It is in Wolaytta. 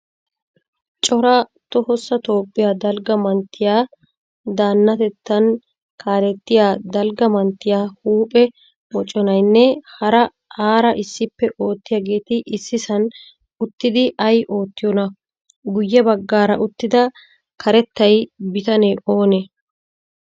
Cora tohossa toophphiyaa dalgga manttiyaa danatettan kalettiya dalgga manttiya huuphphee moconaynne hara aara issippe oottiyagetti issisan uttidi ay ootiyona? Guye baggaara uttida karettay bitane oone?